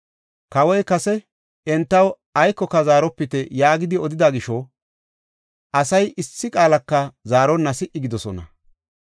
Kawoy kase, “Entaw aykoka zaaropite” yaagidi odida gisho, asay issi qaalaka zaaronna si77i gidoosona.